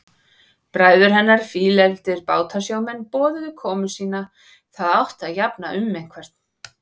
Bræður hennar, fílefldir bátasjómenn, boðuðu komu sína, það átti að jafna um einhvern.